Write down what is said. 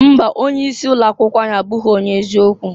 Mba! Onye isi ụlọ akwụkwọ anyị abụghị onye eziokwu.